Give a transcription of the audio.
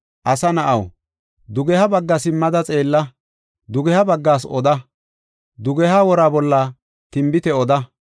“Asa na7aw, dugeha bagga simmada xeella; dugeha baggaas oda; dugeha wora bolla tinbite oda.